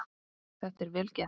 Þetta er vel gert.